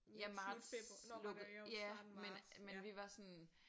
Ja marts lukkede ja men men vi var sådan